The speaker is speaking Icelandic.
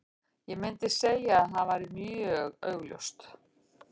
Ég myndi segja að það væri augljóst.